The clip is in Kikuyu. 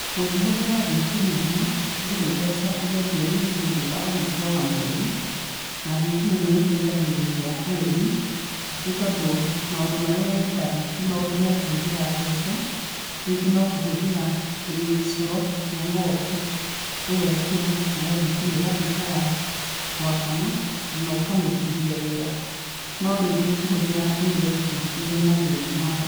Ũngĩhũthĩra thitima ĩno, ndũrĩ mbeca ũgetio nĩ mũndũ thutha wa mũico wa mweri na thitima ĩno nĩĩteithagĩrĩria arĩmi, nĩ tondũ maũndũ marĩa yendaga ti maũndũ me kũhũthĩra mbeca no kũhũthĩra gĩcoro kĩa ng'ombe, ũgekĩra nayo thitima ĩgakorwo ya gwakana na ũkamĩrutithia wĩra, no ũkĩhũthĩra ĩno ĩngĩ nĩrĩ mathĩna mayo.